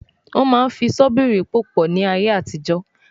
Wọ́n máa ń fi ṣọ́bìrì pò pọ̀ ní ayé àtijọ́